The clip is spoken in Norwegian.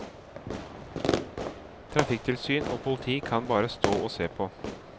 Trafikktilsyn og politi kan bare stå og se på.